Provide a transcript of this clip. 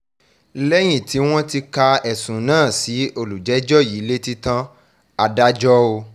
lẹ́yìn tí wọ́n ti ka ẹ̀sùn náà sí olùjẹ́jọ́ yìí létí tán adájọ́ o